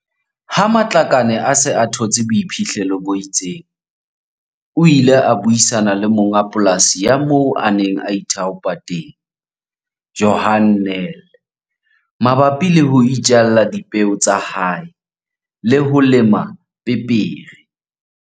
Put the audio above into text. Ha Matlakane a se a thotse boiphihlelo bo itseng, o ile a buisana le monga polasi ya moo a neng a ithaopa teng, Johan Nel, mabapi le ho itjalla dipeo tsa hae le ho lema pepere.